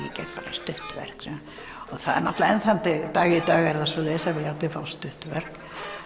stutt verk enn þann dag í dag er það svoleiðis að allir fá stutt verk